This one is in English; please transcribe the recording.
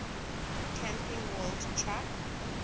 camping world truck